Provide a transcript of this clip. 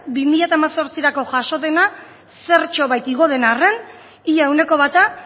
bi mila hemezortzirako jaso dena zertxobait igo den arren ia ehuneko bata